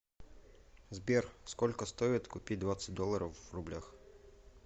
сбер сколько стоит купить двадцать долларов в рублях